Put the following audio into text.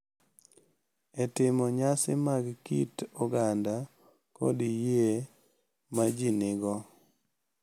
e timo nyasi mag kit oganda kod yie ma ji nigo.